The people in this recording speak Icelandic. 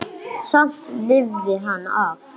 Samt lifði hann af.